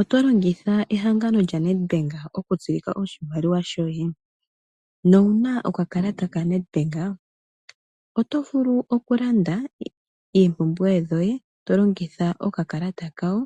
Otolongitha ehangano lyaNedbank okutsilika oshimaliwa shoye nowuna okakalata kaNedbank? Otovulu okulanda oompumbwe dhoye tolongitha okakalata kawo